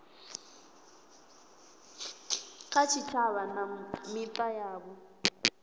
kha tshitshavha na mita yavho